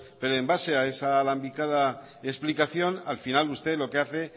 pero en base a esa alambicada explicación al final usted lo que hace